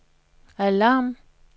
alarm